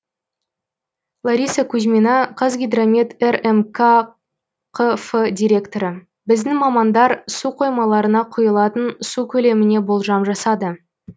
лариса кузьмина қазгидромет рмк қф директоры біздің мамандар су қоймаларына құйылатын су көлеміне болжам жасады